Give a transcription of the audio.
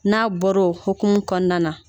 N'a bɔra o hukumu kɔnɔna na